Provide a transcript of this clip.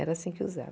Era assim que usava.